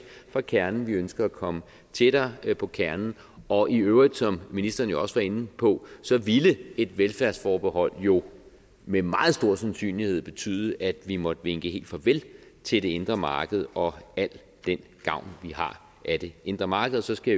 fra kernen vi ønsker at komme tættere på kernen og i øvrigt som ministeren også var inde på ville et velfærdsforbehold jo med en meget stor sandsynlighed betyde at vi måtte vinke helt farvel til det indre marked og al den gavn vi har af det indre marked og så skal